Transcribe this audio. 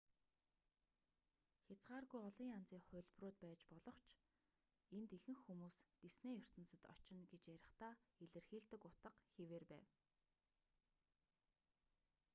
хязгааргүй олон янзын хувилбарууд байж болох боловч энд ихэнх хүмүүс диснейн ертөнцөд очно гэж ярихдаа илэрхийлдэг утга хэвээр байна